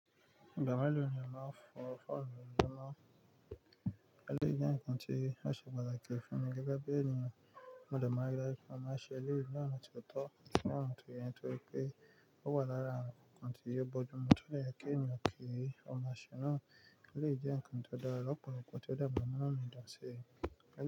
Igba melo ni a maa ń fó ọrọ òòrùn mọ? Elẹ́yìí jẹ́ ǹkan tí ó ṣe pàtàkì fún mi gẹ́gẹ́ bí ènìyàn mo de maa n A máa ṣe èléyìí ní ọ̀nà tó tọ́, ní ọ̀nà tó yẹ, torí pé ó wà lára ǹkan tí yóò bojumọ̀ tó dẹ̀ yẹ kí ènìyàn kí í. Ọ̀nà àṣẹ náà lè jẹ́ ǹkan tó dára lopolopo kó tó dẹ́kun ọ̀nà mìdáṣẹ́ rẹ̀.